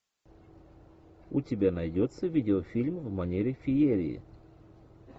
у тебя найдется видеофильм в манере феерии